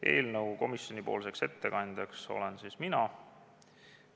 Eelnõu komisjoni ettekandjaks olen siis mina.